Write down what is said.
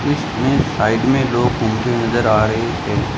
इसमें साइड में लोग घूमते नजर आ रहे हैं।